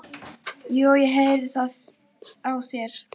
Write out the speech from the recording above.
Jú, ég heyri það á þér.